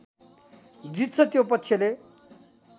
जित्छ त्यो पक्षले